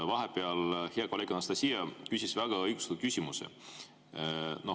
Hea kolleeg Anastassia küsis vahepeal väga õigustatud küsimuse.